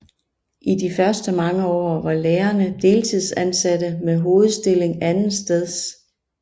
I de første mange år var lærerne deltidsansatte med hovedstilling andetsteds